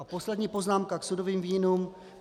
A poslední poznámka k sudovým vínům.